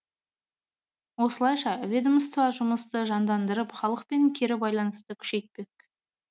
осылайша ведомство жұмысты жандандырып халықпен кері байланысты күшейтпек